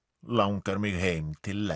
langar mig heim til